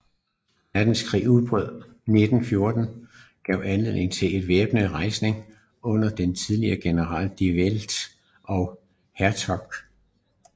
Verdenskrigs udbrud 1914 gav anledning til en væbnet rejsning under de tidligere generaler De Wet og Hertzog